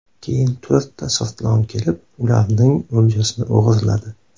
Keyin to‘rtta sirtlon kelib, ularning o‘ljasini o‘g‘irladi.